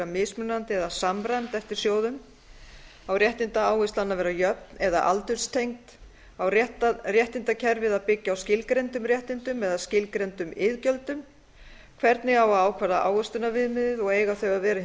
mismunandi eða samræmd eftir sjóðum á réttindaáherslan að vera jöfn eða aldurstengd á réttindakerfið að byggja á skilgreindum réttindum eða skilgreindum iðgjöldum hvernig á að ávaxta ávöxtunarviðmiðið og eiga þau að vera